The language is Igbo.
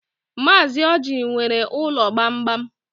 Mazi Ọji nwere ụlọ gbamgbam.